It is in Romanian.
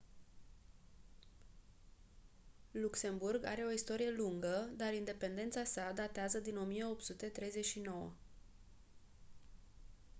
luxemburg are o istorie lungă dar independența sa datează din 1839